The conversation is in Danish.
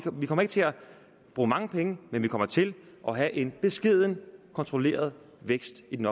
vi kommer ikke til at bruge mange penge men vi kommer til at have en beskeden kontrolleret vækst i den